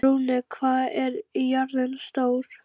Runi, hvað er jörðin stór?